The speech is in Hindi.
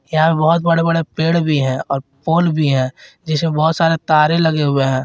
यहां पे बहोत बड़े बड़े पेड़ भी है और फोन भी है जिसमें बहोत सारे तारे लगे हुए हैं।